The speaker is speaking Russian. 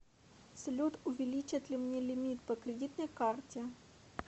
салют увиличат ли мне лимит по кридитной карте